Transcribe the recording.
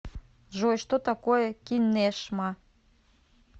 джой что такое кинешма